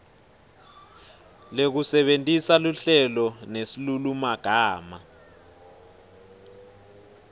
lekusebentisa luhlelo nesilulumagama